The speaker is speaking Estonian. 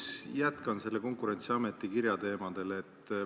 Ma jätkan Konkurentsiameti kirja teemadel.